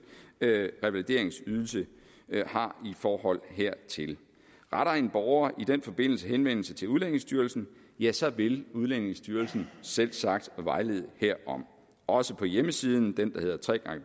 revalideringsydelse har i forhold hertil retter en borger i den forbindelse henvendelse til udlændingestyrelsen ja så vil udlændingestyrelsen selvsagt vejlede herom også på hjemmesiden den der hedder